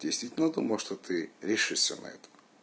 действительно думал что ты решишься на это